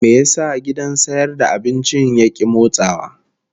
Me yasa gidan sayar da abincin ya ki motsawa?